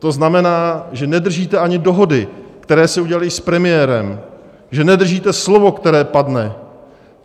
To znamená, že nedržíte ani dohody, které se udělaly s premiérem, že nedržíte slovo, které padne.